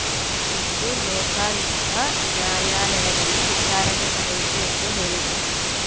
ಇಂದು ಲೋಕಾಯುಕ್ತ ನ್ಯಾಯಾಲಯದಲ್ಲಿ ವಿಚಾರಣೆ ನಡೆಯಿತು ಎಂದು ಹೇಳಿದರು